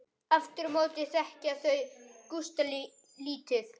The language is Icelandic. Aftur á móti þekkja þau Gústa lítið.